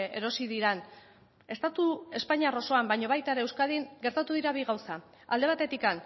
erosi diren estatu espainiar osoan baina baita ere euskadin gertatu dira bi gauza alde batetik